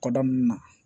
Kɔda ninnu na